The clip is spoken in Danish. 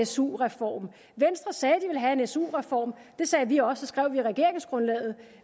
su reform venstre sagde at de ville have en su reform det sagde vi også skrev vi i regeringsgrundlaget